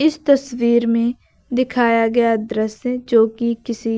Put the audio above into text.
इस तस्वीर में दिखाया गया दृश्य जो कि किसी